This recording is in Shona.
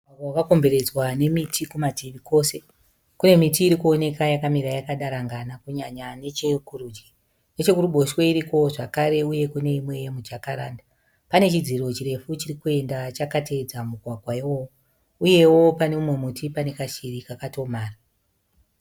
Mugwagwa wakakomberedzwa nemiti kumativi kose, kune miti irikuoneka yakamira yakadarangana kunyanya nechekurudyi, nechekuruboshwe irikowo zvekare uye kune imwe yemujakaranda pane chidziro chirefu chirikuenda chakateedza mugwagwa iwowo, uyewo pane mumwe muti pane kashiri kakatomhara.